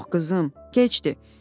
Yox, qızım, gecdir.